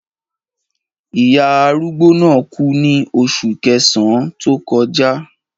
Ìyá arúgbó náà kú ní oṣù kẹsàn-án tó kọjá.